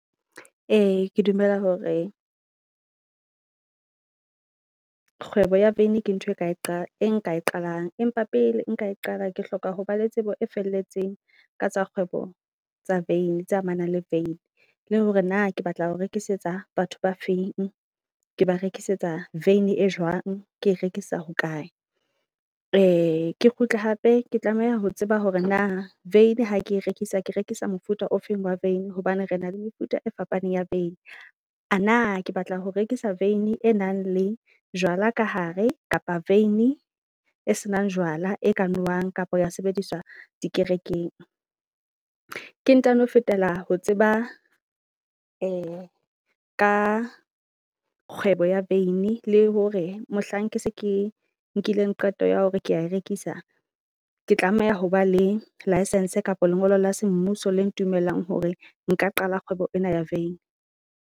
Ee, ke dumela hore kgwebo ya vein ke ntho e nka e qala e nka e qalang, empa pele nka e qala ke hloka ho ba le tsebo e felletseng ka tsa kgwebo tsa vein tse amanang le vein. Le hore na ke batla ho rekisetsa batho ba feng ke ba rekisetsa vein e jwang. Ke rekisa ho kae ke kgutle hape ke tlameha ho tseba hore na vein ha ke rekisa ke rekisa mofuta ofeng wa vein hobane re na le mefuta e fapaneng ya vein. A na ke batla ho rekisa vein e nang le jwala ka hare, kapa vein e senang jwala e ka nowang kapa ya sebediswa di kerekeng. Ke ntano fetela ho tseba ka kgwebo ya vein le hore mohlang ke se ke nkileng qeto ya hore kea e rekisa. Ke tlameha ho ba le License kapa lengolo la semmuso le ntumellang hore nka qala kgwebo ena ya vein.